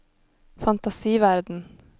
fantasiverden